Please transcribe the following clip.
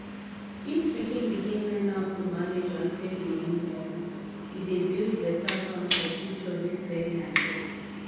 if pikin begin learn how to manage and save money early e dey build better ground for future wey steady and sure